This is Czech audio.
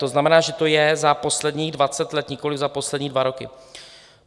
To znamená, že to je za posledních dvacet let, nikoliv za poslední dva roky.